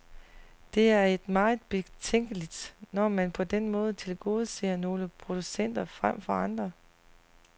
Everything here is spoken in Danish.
Det er meget betænkeligt, når man på den måde tilgodeser nogle producenter frem for andre.